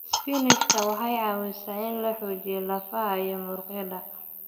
Isbaanishka waxay caawisaa in la xoojiyo lafaha iyo muruqyada.